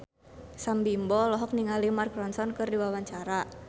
Sam Bimbo olohok ningali Mark Ronson keur diwawancara